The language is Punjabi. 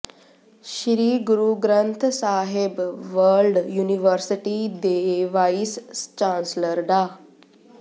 ਸ੍ਰੀ ਗੁਰੂ ਗ੍ਰੰਥ ਸਾਹਿਬ ਵਰਲਡ ਯੂਨੀਵਰਸਿਟੀ ਦੇ ਵਾਈਸ ਚਾਂਸਲਰ ਡਾ